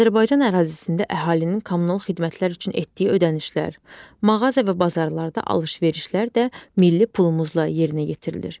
Azərbaycan ərazisində əhalinin kommunal xidmətlər üçün etdiyi ödənişlər, mağaza və bazarlarda alış-verişlər də milli pulumuzla yerinə yetirilir.